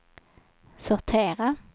sortera